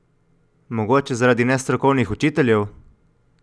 Mogoče zaradi nestrokovnih učiteljev?